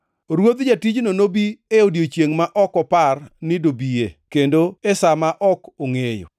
Ruodh jatijno nobi e odiechiengʼ ma ok opar ni dobie, kendo e sa ma ok ongʼeyo.